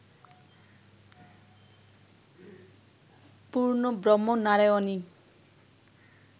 পূর্ণব্রহ্ম নারায়ণই